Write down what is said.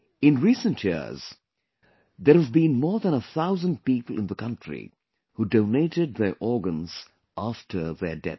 In recent years, there have been more than a thousand people in the country who donated their organs after their death